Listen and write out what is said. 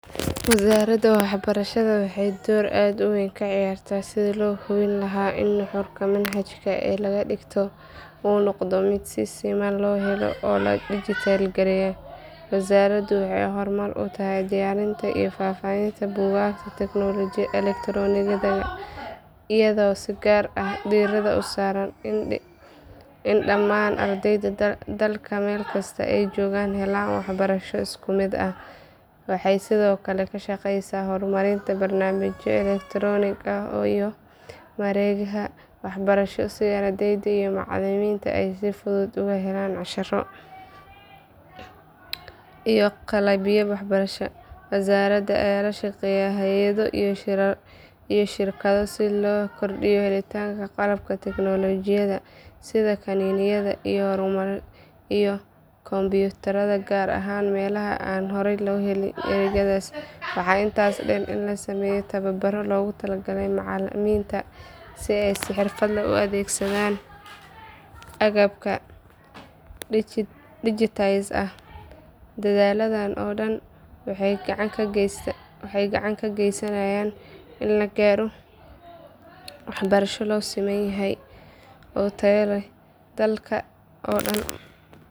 Wasaaradda waxbarashada waxay door aad u weyn ka ciyaartaa sidii loo hubin lahaa in nuxurka manhajka ee la dhigto uu noqdo mid si siman loo helo oo la digitized gareeyey. Wasaaraddu waxay hormuud u tahay diyaarinta iyo faafinta buugaagta elektaroonigga ah, iyadoo si gaar ah diiradda u saarta in dhammaan ardayda dalka meel kasta ay joogaan helaan waxbarasho isku mid ah. Waxay sidoo kale ka shaqeysaa horumarinta barnaamijyo elektaroonik ah iyo mareegaha waxbarasho si ardayda iyo macalimiinta ay si fudud uga helaan casharro iyo qalabyo waxbarasho. Wasaaradda ayaa la shaqeysa hay’ado iyo shirkado si loo kordhiyo helitaanka qalabka tignoolajiyada sida kiniinyada iyo kombiyuutarada, gaar ahaan meelaha aan horay u heli jirin adeegyadaas. Waxaa intaa dheer in la sameeyo tababaro loogu talagalay macalimiinta si ay si xirfad leh u adeegsadaan agabka digitized ah. Dadaalladan oo dhan waxay gacan ka geysanayaan in la gaaro waxbarasho loo siman yahay oo tayo leh dalka oo dhan.